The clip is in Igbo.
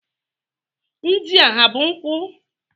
Ndị a ha bụ nkwụ?